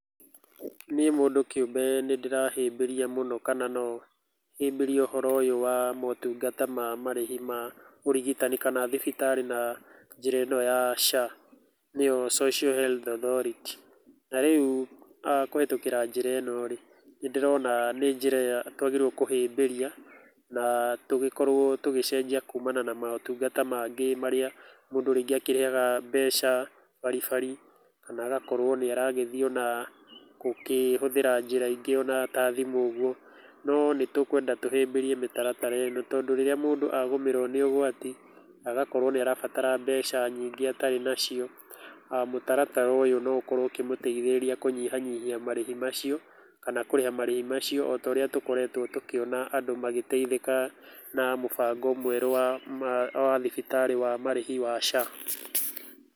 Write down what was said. Niĩ mũndũ kĩumbe nĩ ndĩrahĩmbĩria mũno kana no hĩmbĩrie mũno ũhoro ũyũ wa motungata wa marĩhi ma ũrigitani kana thibitarĩ na njĩra ĩno ya SHA nĩyo Social Health Authority. Na rĩu kũhĩtũkĩra njĩra ĩno rĩ, nĩ ndĩrona nĩ njĩra ĩrĩa twagĩrĩirwo kũhĩmbĩria na tũgĩkorwo tũgĩcenjia kumana na motungata marĩa mangĩ marĩa mũndũ rĩngĩ akĩrĩhaga mbeca bari bari, kana agakorwo nĩ aragĩthiĩ ona gũkĩhũthĩra njĩra ingĩ ona ta thimũ ũguo. No nĩ tũkwenda tũhĩmbĩrie mĩtaratara ĩno tondũ rĩrĩa mũndũ agũmĩrwo nĩ ũgwati agakorwo nĩ arabatara mbeca nyingĩ atarĩ nacio, mũtaratara ũyũ no ũkorwo ũkĩmũteithĩrĩria kũnyihanyihia marĩhi macio kana kũrĩha marĩhi macio ota ũrĩa tũkoretwo tũkĩona andũ magĩteithĩka na mũbango mwerũ wa thibitarĩ wa marĩhi wa SHA.